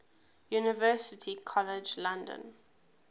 university college london